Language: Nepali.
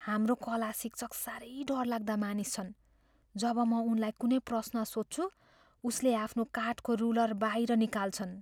हाम्रो कला शिक्षक साह्रै डरलाग्दा मानिस छन्। जब म उनलाई कुनै प्रश्न सोध्छु, उसले आफ्नो काठको रुलर बाहिर निकाल्छन्।